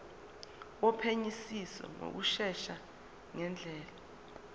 wophenyisiso ngokushesha ngendlela